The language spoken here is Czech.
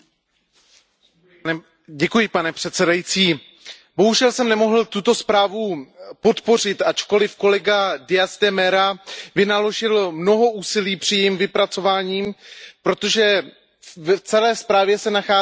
Pane předsedající, bohužel jsem nemohl tuto zprávu podpořit, ačkoliv kolega Díaz de Mera García Consuegra vynaložil mnoho úsilí při jejím vypracování, protože v celé zprávě se nachází několik problematických bodů.